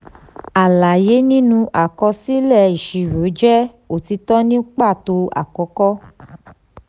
alaye nínú àkọsílẹ̀ ìṣirò jẹ otitọ ní pàtó àkókò.